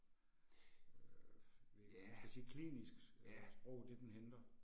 Øh man kan sige klinisk sprog, det den henter